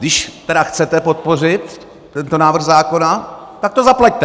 Když tedy chcete podpořit tento návrh zákona, tak to zaplaťte.